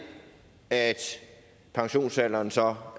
at pensionsalderen så